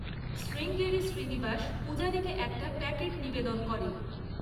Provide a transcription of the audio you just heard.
শ্রীঙ্গেরি শ্রীনিবাস পূজারীকে একটা প্যাকেট নিবেদন করে।